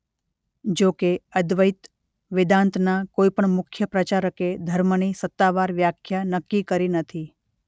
જો કે અદ્વૈત વેદાંતના કોઇ પણ મુખ્ય પ્રચારકે ધર્મની સત્તાવાર વાખ્યા નક્કી કરી નથી.